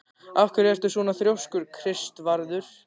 Af hverju ertu svona þrjóskur, Kristvarður?